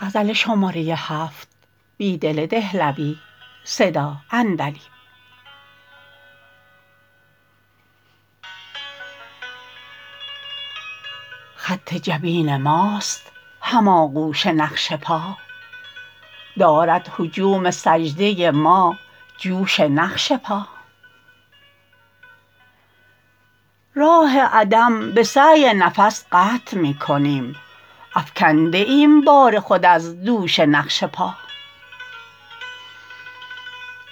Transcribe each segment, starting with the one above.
خط جبین ماست هم آغوش نقش پا دارد هجوم سجده ما جوش نقش پا راه عدم به سعی نفس قطع می کنیم افکنده ایم بار خود از دوش نقش پا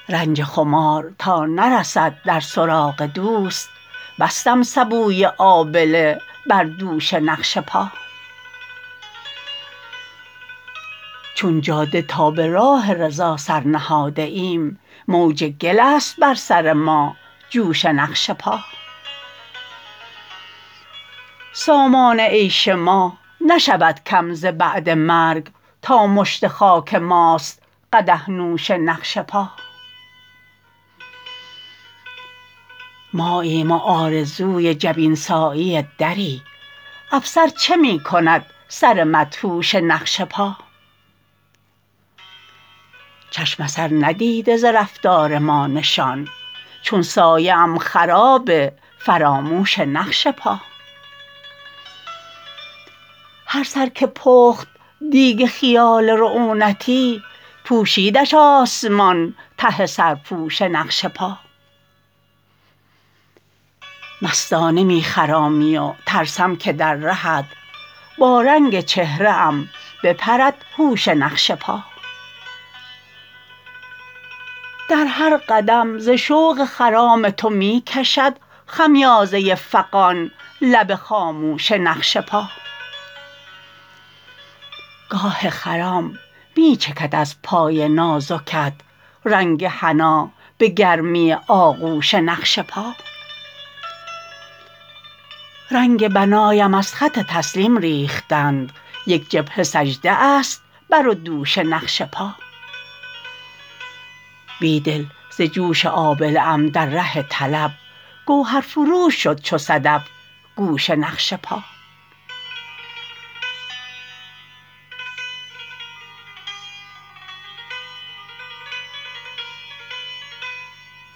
رنج خمار تا نرسد در سراغ دوست بستم سبوی آبله بر دوش نقش پا چون جاده تا به راه رضا سر نهاده ایم موج گل است بر سر ما جوش نقش پا سامان عیش ما نشود کم ز بعد مرگ تا مشت خاک ماست قدح نوش نقش پا ماییم و آرزوی جبین سایی دری افسر چه می کند سر مدهوش نقش پا چشم اثر ندیده ز رفتار ما نشان چون سایه ام خراب فراموش نقش پا هر سر که پخت دیگ خیال رعونتی پوشیدش آسمان ته سرپوش نقش پا مستانه می خرامی و ترسم که در رهت با رنگ چهره ام بپرد هوش نقش پا در هر قدم ز شوق خرام تو می کشد خمیازه فغان لب خاموش نقش پا گاه خرام می چکد از پای نازکت رنگ حنا به گرمی آغوش نقش پا رنگ بنایم از خط تسلیم ریختند یک جبهه سجده است بر و دوش نقش پا بیدل ز جوش آبله ام در ره طلب گوهرفروش شد چو صدف گوش نقش پا